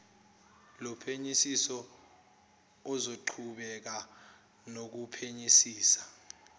lophenyisiso ozoqhubeka nokuphenyisisa